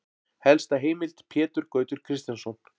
Helsta heimild: Pétur Gautur Kristjánsson.